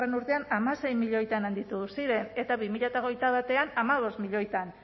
urtean hamasei milioitan handitu ziren eta bi mila hogeita batean hamabost milioitan